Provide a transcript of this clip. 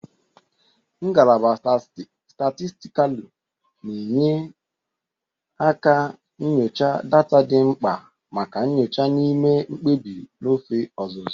Ngalaba Statistikalu na-enye nkà nyocha data dị mkpa maka nyocha na ime mkpebi n'ofe ọzụzụ.